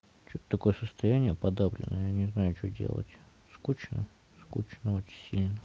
что-то такое состояние подавленное я не знаю что делать скучно скучно очень сильно